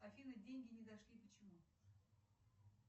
афина деньги не дошли почему